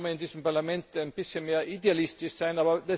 Vielleicht könnte man in diesem Parlament ein bisschen mehr Idealist sein.